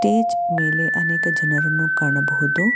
ಎಜ್ ಮೇಲೆ ಅನೇಕ ಜನರನ್ನು ಕಾಣಬಹುದು.